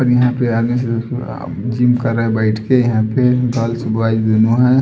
और यहाँ पे आदमी सुबह सुबह जिम कर रहे हैं बैठके यहाँ पे गर्ल्स बॉयस दोनो हैं।